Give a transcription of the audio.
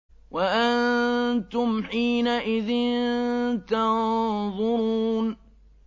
وَأَنتُمْ حِينَئِذٍ تَنظُرُونَ